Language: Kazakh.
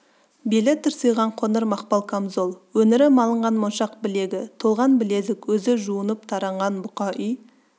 белі тырсиған қоңыр мақпал камзол өңірі малынған моншақ білегі толған білезік өзі жуыньп таранған бұқа үй